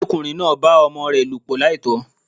Ọmọdékùnrin náà bá ọmọ rè lòpọ̀ láìtó